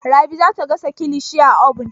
Rabi za ta gasa kilishi a obun.